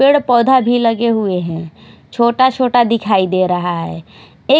पेड़ पौधा भी लगे हुए हैं छोटा छोटा दिखाई दे रहा है ए--